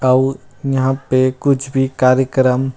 आऊ यहाँ पे कुछ भी कार्यक्रम--